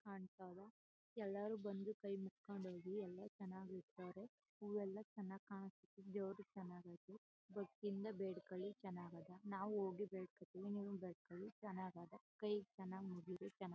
ಚನಾಗ್ ಕಾಂತಾವ ಎಲ್ಲರು ಬಂದು ಕೈ ಮುಕ್ಕೊಂಡ್ ಹೋಗಿ ಎಲ್ಲ ಚನಾಗಿರ್ತಾರೆ. ಹೂವೆಲ್ಲ ಚನ್ನಾಗ್ ಕಾಂಸ್ಟಿದೆದೇವ್ರು ಚನಗೈತೆ.ಭಕ್ತಿ ಇಂದ ಬೇಡ್ಕಳಿ ಚನಗದ. ನಾವು ಹೋಗಿ ಬೇಡ್ಕತೀವಿ ನೀವು ಬೇಡ್ಕಳಿ ಚನಗದ. ಕೈ ಚನ್ನಾಗ್ ಮುಗಿರಿ ಚನಗ--